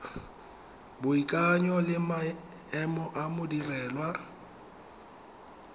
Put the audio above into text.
boikanyo le maemo a modirelwa